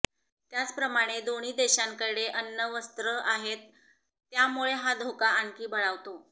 त्याचप्रमाणे दोन्ही देशांकडे अण्वस्त्रं आहेत त्यामुळे हा धोका आणखी बळावतो